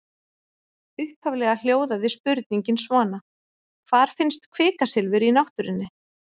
Upphaflega hljóðaði spurningin svona: Hvar finnst kvikasilfur í náttúrunni?